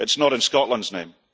it is not in Scotland's name.